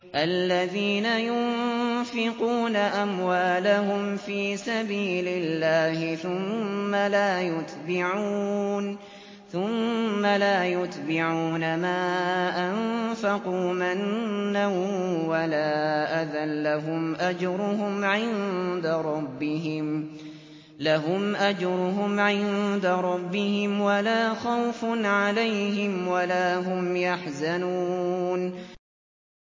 الَّذِينَ يُنفِقُونَ أَمْوَالَهُمْ فِي سَبِيلِ اللَّهِ ثُمَّ لَا يُتْبِعُونَ مَا أَنفَقُوا مَنًّا وَلَا أَذًى ۙ لَّهُمْ أَجْرُهُمْ عِندَ رَبِّهِمْ وَلَا خَوْفٌ عَلَيْهِمْ وَلَا هُمْ يَحْزَنُونَ